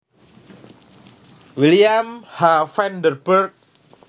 William H Vanderburg